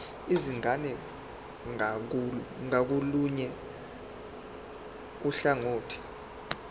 izingane ngakolunye uhlangothi